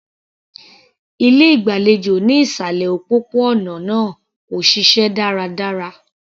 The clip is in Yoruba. Ilé ìgbàlejò ní ìsàlẹ̀ òpópó-ònà náà kò ṣiṣẹ́ dáradára.